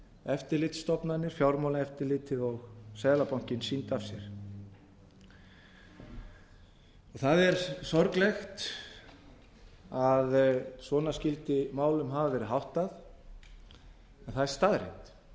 eftirlitsstofnanir fjármálaeftirlitið og seðlabankinn sýndu af sér það er sorglegt að svona skyldi málum hafa verið háttað en það er